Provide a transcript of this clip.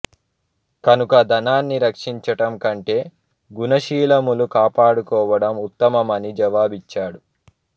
కనుక ధనాన్ని రక్షించటం కంటే గుణశీలములు కాపాడుకోవడం ఉత్తమం అని జవాబిచ్చాడు